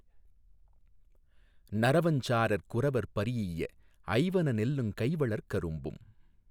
நறவஞ் சாரற் குறவர் பரீஇய ஐவன நெல்லுங் கைவளர் கரும்பும்